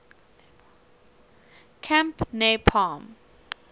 camp near palm